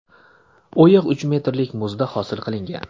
O‘yiq uch metrlik muzda hosil qilingan.